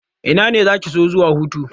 Ina zaki so zuwa hutu?